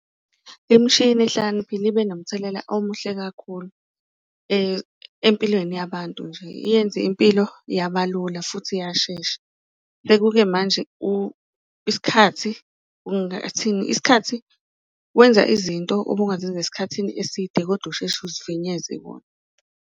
Imishini ehlakaniphile ibe nomthelela omuhle kakhulu empilweni yabantu nje. Iyenze impilo yabalula futhi yashesha sekuke manje isikhathi , isikhathi wenza izinto obungazenza esikhathini eside kodwa usheshe uzifinyeze kuwona.